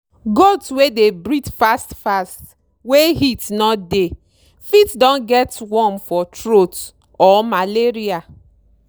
goat wey dey breathe fast fast wey heat no dey fit don get worm for throat or malaria.